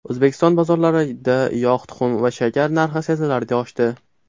O‘zbekiston bozorlarida yog‘, tuxum va shakar narxi sezilarli oshdi.